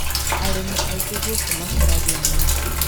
arĩmi aingĩ gũku makũrangia marĩngũ